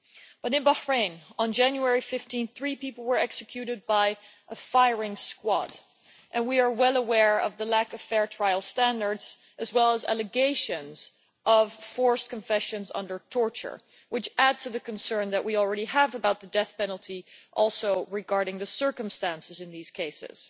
But in Bahrain on 15 January three people were executed by a firing squad, and we are well aware of the lack of fair trial standards as well as allegations of forced confessions under torture, which adds to the concern that we already have about the death penalty, also regarding the circumstances in these cases.